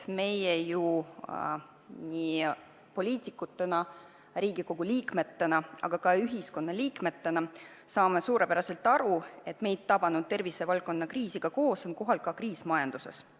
Meie saame nii poliitikutena, Riigikogu liikmetena, kui ka lihtsalt ühiskonnaliikmetena suurepäraselt aru, et meid tabanud tervise valdkonna kriisiga koos on kohal ka kriis majanduses.